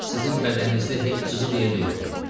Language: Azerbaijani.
Sizin bədəninizdə heç cızıq yeri də yoxdur.